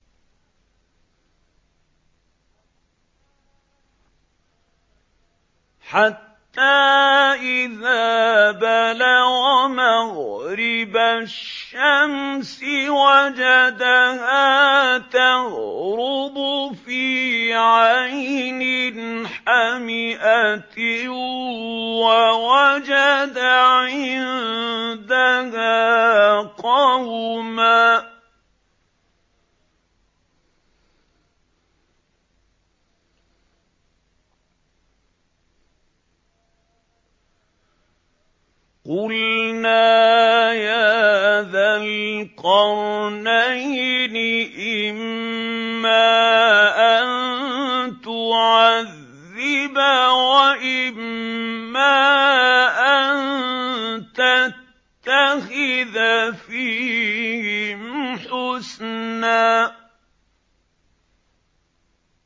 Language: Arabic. حَتَّىٰ إِذَا بَلَغَ مَغْرِبَ الشَّمْسِ وَجَدَهَا تَغْرُبُ فِي عَيْنٍ حَمِئَةٍ وَوَجَدَ عِندَهَا قَوْمًا ۗ قُلْنَا يَا ذَا الْقَرْنَيْنِ إِمَّا أَن تُعَذِّبَ وَإِمَّا أَن تَتَّخِذَ فِيهِمْ حُسْنًا